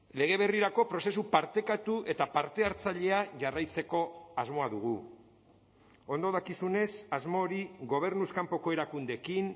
lege berrirako prozesu partekatu eta parte hartzailea jarraitzeko asmoa dugu ondo dakizunez asmo hori gobernuz kanpoko erakundeekin